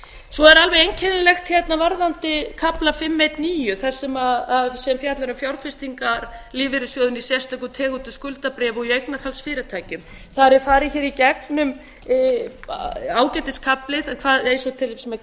svo er alveg einkennilegt hérna varðandi kafla fimm einn níu sem fjallar um fjárfestingar lífeyrissjóðanna í sérstökum tegundum skuldabréfa og í eignarhaldsfyrirtækjum þar er farið hér í gegnum ágætis kafli eins og til dæmis með